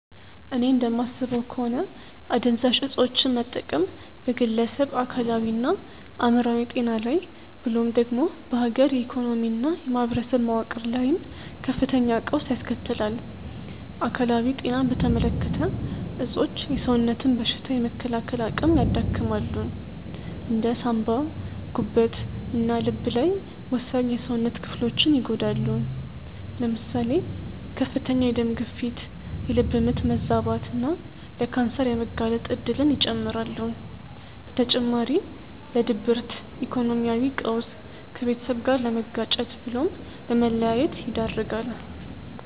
እኔ እንደማስበው ከሆነ አደንዛዥ እፆችን መጠቀም በግለሰብ አካላዊና አእምሮአዊ ጤና ላይ ብሎም ደግሞ በሀገር የኢኮኖሚና የማኅበረሰብ መዋቅር ላይም ከፍተኛ ቀውስ ያስከትላል። አካላዊ ጤናን በተመለከተ እፆች የሰውነትን በሽታ የመከላከል አቅም ያዳክማሉ። እንደ ሳንባ፣ ጉበት እና ልብ ያሉ ወሳኝ የሰውነት ክፍሎችን ይጎዳሉ። ለምሳሌ ከፍተኛ የደም ግፊት፣ የልብ ምት መዛባት እና ለካንሰር የመጋለጥ እድልን ይጨምራሉ። በተጨማሪ ለድብርት፣ ኢኮኖሚያዊ ቀውስ፣ ከቤተሰብ ጋር ለመጋጨት ብሎም ለመለያየት ይዳርጋል።